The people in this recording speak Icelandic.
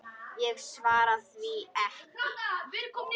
Ég svaraði því ekki.